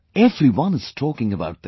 Everyone is talking about them